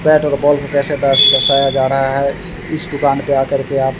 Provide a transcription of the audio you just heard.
Bat और ball को कैसे दस दसाया जा रहा है। इस दुकान पे आकर के आप --